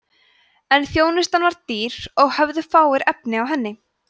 en þjónustan var dýr og höfðu fáir efni á henni